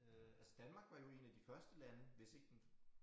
Øh altså Danmark var jo 1 af de første lande hvis ikke den